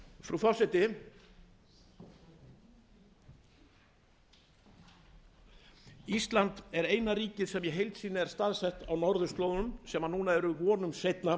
frú forseti ísland er eina ríkið sem í heild sinni er staðsett á norðurslóðum sem núna fá vonum seinna